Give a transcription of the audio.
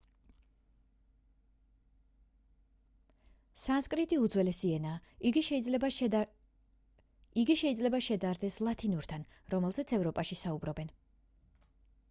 სანსკრიტი უძველესი ენაა იგი შეიძლება შედარდეს ლათინურთან რომელზეც ევროპაში საუბრობენ